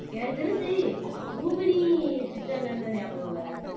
எனக்கு தெரிஞ்சு ரூபிணி ஞாபகம் வாராங்க